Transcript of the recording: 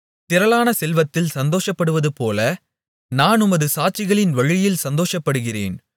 திரளான செல்வத்தில் சந்தோஷப்படுவதுபோல நான் உமது சாட்சிகளின் வழியில் சந்தோஷப்படுகிறேன்